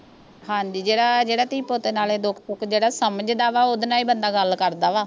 ਹਾਂਜੀ ਜਿਹੜਾ ਜਿਹੜਾ ਧੀ ਪੁੱਤ ਨਾਲੇ ਦੁਖ ਸੁਖ ਜਿਹੜਾ ਸਮਝਦਾ ਵਾ ਉਹਦੇ ਨਾਲ ਹੀ ਬੰਦਾ ਗੱਲ ਕਰਦਾ ਵਾ